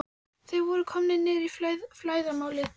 Þeir voru komnir niður í flæðarmálið.